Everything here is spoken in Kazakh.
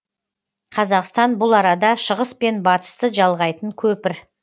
қазақстан бұл арада шығыс пен батысты жалғайтын көпір